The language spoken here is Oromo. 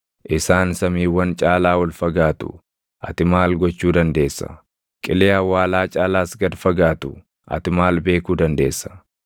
Isaan samiiwwan caalaa ol fagaatu; ati maal gochuu dandeessa? Qilee awwaalaa caalaas gad fagaatu; ati maal beekuu dandeessa?